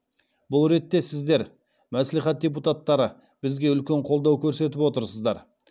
бұл ретте сіздер мәслихат депутаттары бізге үлкен қолдау көрсетіп отырсыздар